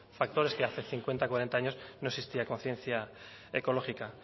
factor es que hace cincuenta cuarenta años no existía conciencia ecológica